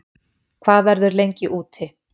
Hvað verður lengi úti